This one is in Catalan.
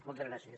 moltes gràcies